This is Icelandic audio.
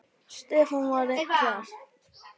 Stefán var einn þeirra.